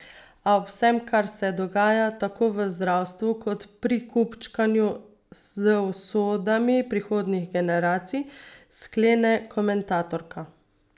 A ob vsem, kar se dogaja, tako v zdravstvu kot pri kupčkanju z usodami prihodnjih generacij, sklene komentatorka.